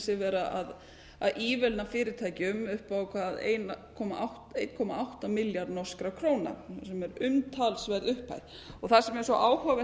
sig vera að ívilna fyrirtækjum upp á einum komma átta milljarð norskra króna sem er umtalsverð upphæð það sem er svo áhugavert